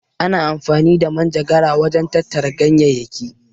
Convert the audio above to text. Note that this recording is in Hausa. Ana amfani da manjagara wajen tattara ganyayyaki.